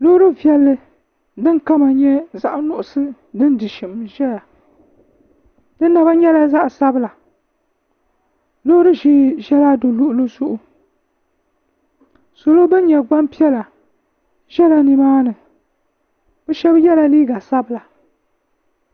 loori viɛlli din kama nyɛ zaɣ nuɣso din di shim n ʒɛya di naba nyɛla zaɣ sabila loori ʒiɛ ʒɛla di luɣuli zuɣu salo ban nyɛ gbanpiɛla ʒɛla nimaani bi shab yɛla liiga sabila